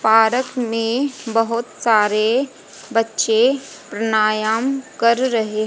park मे बहुत सारे बच्चे प्राणायाम कर रहे--